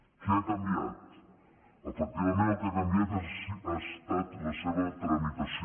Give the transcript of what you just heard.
què ha canviat efectivament el que ha canviat ha estat la seva tramitació